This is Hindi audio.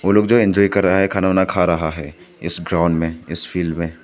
लोग जी इंजॉय कर रहा है खाना वाना खा रहा है इस ग्राउंड में फील्ड में।